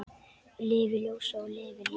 Lifi ljósið og lifi lífið!